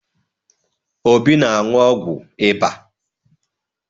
Obi na-aṅụ ọgwụ ịba.